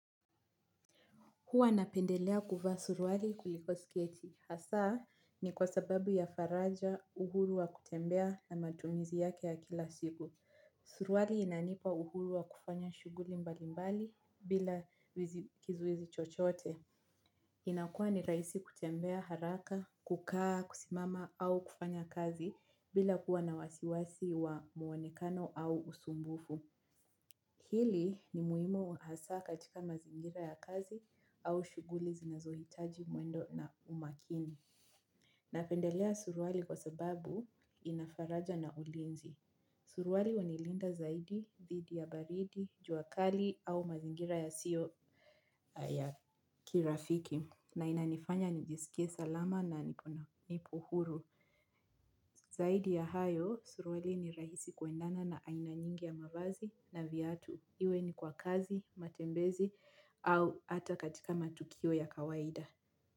Huwa napendelea kuvaa suruali kuliko sketi. Hasa ni kwa sababu ya faraja uhuru wa kutembea na matumizi yake ya kila siku. Suruali inanipa uhuru wa kufanya shughuli mbali mbali bila kizuizi chochote. Inakua ni rahisi kutembea haraka, kukaa, kusimama au kufanya kazi bila kuwa na wasiwasi wa mwonekano au usumbufu. Hili ni muhimu hasa katika mazingira ya kazi au shughuli zinazohitaji mwendo na umakini. Napendelea suruali kwa sababu ina faraja na ulinzi. Suruali hunilinda zaidi, dhidi ya baridi, jua kali au mazingira yasiyo ya kirafiki. Na inanifanya nijiskie salama na niko huru zaidi ya hayo suruali ni rahisi kuendana na aina nyingi ya mavazi na viatu. Iwe ni kwa kazi, matembezi au hata katika matukio ya kawaida.